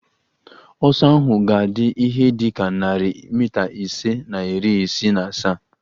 Ọsọ ahụ ga-adị ihe dị ka narị mita ise na iri isii na asaa